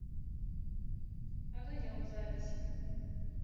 огонек запись